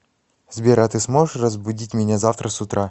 сбер а ты сможешь разбудить меня завтра с утра